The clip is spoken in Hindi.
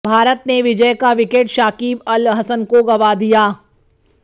भारत ने विजय का विकेट शाकिब अल हसन को गंवा दिया